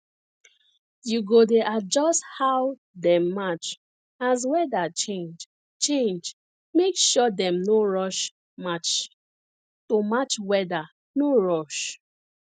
you go dey adjust how dem march as weather change change make sure dem no rush march to match weather no rush